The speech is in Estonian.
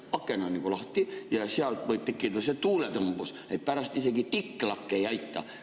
Aken on lahti ja sealt võib tekkida tuuletõmbus, nii et pärast isegi Diclac ei aita.